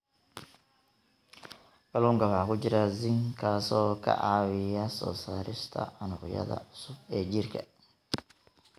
Kalluunka waxaa ku jira zinc, kaas oo ka caawiya soo saarista unugyada cusub ee jirka.